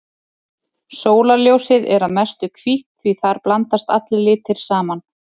Sólarljósið er að mestu hvítt því þar blandast allir litir saman.